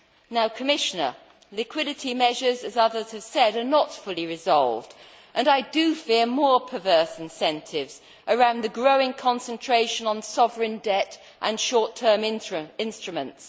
Now, Commissioner, liquidity measures as others have said are not fully resolved, and I do fear more perverse incentives around the growing concentration on sovereign debt and short term instruments.